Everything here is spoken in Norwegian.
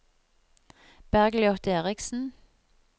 Bergljot Erichsen